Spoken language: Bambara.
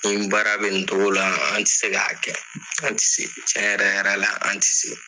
Nin baara bɛ nin togo la an tɛ se k'a kɛ an tɛ se cɛ yɛrɛ yɛrɛ la an tɛ se.